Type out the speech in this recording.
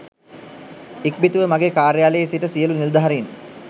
ඉක්බිතිව මගේ කාර්යාලයේ සිට සියලූ නිලධාරින්